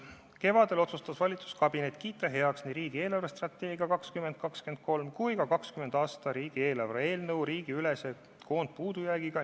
Kevadel otsustas valitsuskabinet kiita heaks nii riigi eelarvestrateegia aastateks 2020–2023 kui ka 2020. aasta riigieelarve seaduse eelnõu riigiülese koondpuudujäägiga.